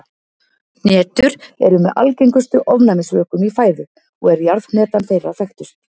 Hnetur eru með algengustu ofnæmisvökum í fæðu og er jarðhnetan þeirra þekktust.